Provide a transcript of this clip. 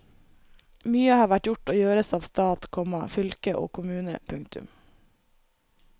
Mye har vært gjort og gjøres av stat, komma fylke og kommune. punktum